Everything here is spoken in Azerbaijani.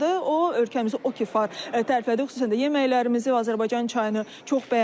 O ölkəmizi o ki var təriflədi, xüsusən də yeməklərimizi və Azərbaycan çayını çox bəyənib.